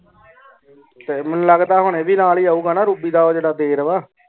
ਮੇਨੂ ਲਗਦਾ ਹਨ ਆ ਵੀ ਨਾਲ ਈ ਆਉਗਾ ਨਾ ਰੋਬੀ ਦਾ ਊ ਜੇਰਾ ਦੇਰ ਵਾ